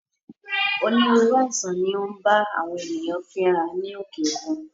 Onírúurú àìsàn ni ó ń bá àwọn ènìyàn fínra ní òkè òkun